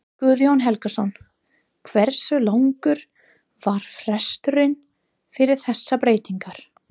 Guðjón Helgason: Hversu langur var fresturinn fyrir þessar breytingar?